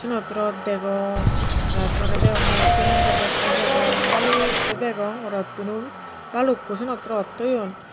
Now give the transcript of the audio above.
cinot rot degong tar pore degongye aro cement to bosta degong balukko degong rot tunu balukko saynot rot toyoun.